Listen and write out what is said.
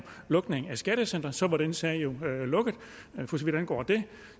lukning af skattecentre så var den sag jo lukket for så vidt angår det